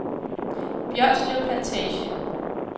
Bjørslev Plantage